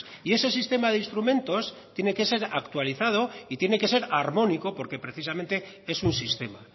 y ese sistema de instrumentos tiene que ser actualizado y tiene que ser armónico porque precisamente es un sistema